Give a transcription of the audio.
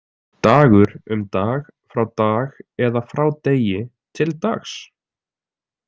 Dagur, um Dag, frá Dag eða frá Degi, til Dags.